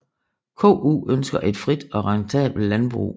KU ønsker et frit og rentabelt landbrug